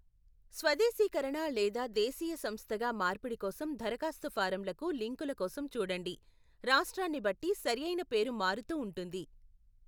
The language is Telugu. స్వదేశీకరణ లేదా దేశీయ సంస్థగా మార్పిడి కోసం దరఖాస్తు ఫారంలకు లింకుల కోసం చూడండి, రాష్ట్రాన్ని బట్టి సరియైన పేరు మారుతూ ఉంటుంది.